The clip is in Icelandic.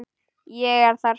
Ég er þar.